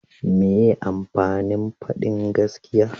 meye amfanin fadin gaskiya?